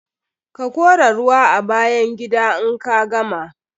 Ka kora ruwa a bayan gida in ka gama.